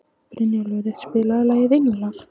Brynjólfur, spilaðu lagið „Englar“.